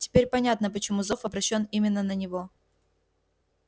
теперь понятно почему зов обращён именно на него